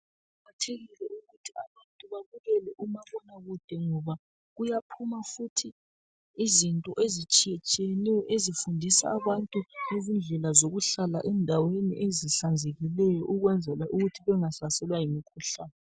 Kuqakathekile ukuthi abantu babukele umabonakude ngoba kuyaphuma futhi izinto ezitshiyetshiyeneyo ezifundisa abantu ngezindlela zokuhlala endaweni ezihlanzekileyo ukwenzela ukuthi bengahlaselwa yimkhuhlane